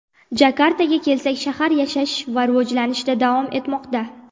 Jakartaga kelsak, shahar yashash va rivojlanishda davom etmoqda.